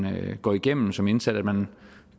går igennem som indsat at man